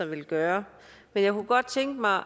ville gøre men jeg kunne godt tænke mig